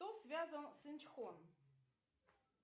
кто связан с инчхон